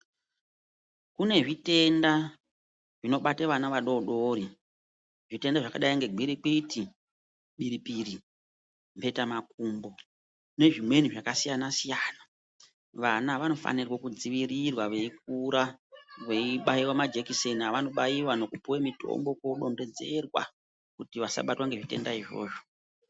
Kune zvitenda zvinobata vana vadodoro zvitenda zvakadai nengirikwiti, biri-piri, mhetamakumbo nezvimweni zvakasiyana-siyana. Vana vanofanirwe kudzivirirwa veikura veibaiva majekiseni avanoba nekupuve mitombo kodonhedzerwa kuti vasabatwa ngezvitenda izvozvo.